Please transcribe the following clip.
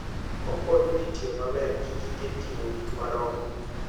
Okonyo ji tiyo maber gi gige ting'o gik madongo.